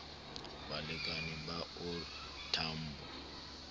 balekane ba o r tambo